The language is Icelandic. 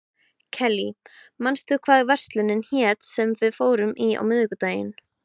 Kellý, manstu hvað verslunin hét sem við fórum í á miðvikudaginn?